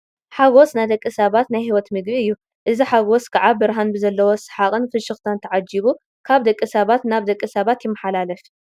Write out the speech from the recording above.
ሓጐስ ናይ ደቂ ሰባት ናይ ህይወት ምግቢ እዩ፡፡ እዚ ሓጐስ ከዓ ብርሃን ብዘለዎ ሰሓቕን ፍሽኽታን ተዓጂቡ ካብ ደቂ ሰባት ናብ ደቂ ሰባት ይመሓላለፍ፡፡